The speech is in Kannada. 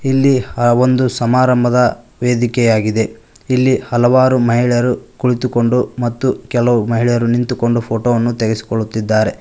ಇಲ್ಲಿ ಒಂದು ಸಮಾರಂಭದ ವೇದಿಕೆಯಾಗಿದೆ ಇಲ್ಲಿ ಹಲವಾರು ಮಹಿಳೆಯರು ಕುಳಿತುಕೊಂಡು ಮತ್ತು ಕೆಲವು ಮಹಿಳೆಯರು ನಿಂತುಕೊಂಡು ಫೋಟೋ ವನ್ನು ತೆಗೆಸಿಕೊಳ್ಳುತ್ತಿದ್ದಾರೆ.